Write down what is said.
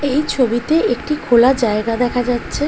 এই ছবিতে একটি খোলা জায়গা দেখা যাচ্ছে।